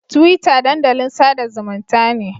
Twitter dandalin sada zumunta ne.